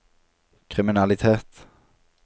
kriminalitet